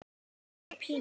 segir Pína.